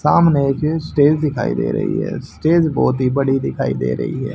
सामने एक स्टेज दिखाई दे रही है स्टेज बहोत ही बड़ी दिखाई दे रही है।